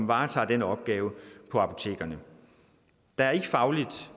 varetager den opgave på apotekerne der er ikke fagligt